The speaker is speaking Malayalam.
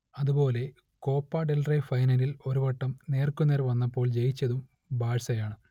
അതുപോലെ കോപ ഡെൽ റേ ഫൈനലിൽ ഒരു വട്ടം നേർക്കുനേർ വന്നപ്പോൾ ജയിച്ചതും ബാഴ്സയാണ്